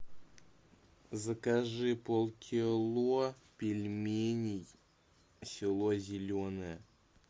закажи пол кило пельменей село зеленое